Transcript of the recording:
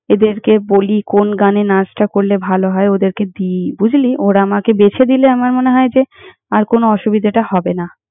এদেরকে বলি কোন গানে নাচটা করলে ভালো হয়, ওদেরকে দিই বুঝলি! ওরা আমাকে বেছে দিলে আমার মনে হয় যে, আর কোনো অসুবিধেটা হবে না।